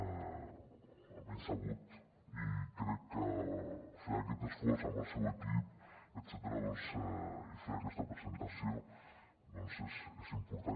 almenys sabut i crec que fer aquest esforç amb el seu equip etcètera i fer aquesta presentació doncs és important